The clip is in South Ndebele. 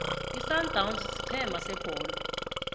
isundowns sigcema sebholo